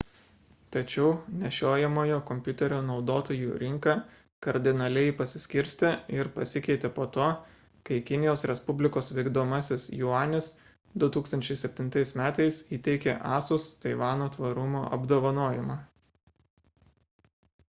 tačiau nešiojamojo kompiuterio naudotojų rinka kardinaliai pasiskirstė ir pasikeitė po to kai kinijos respublikos vykdomasis juanis 2007 m įteikė asus taivano tvarumo apdovanojimą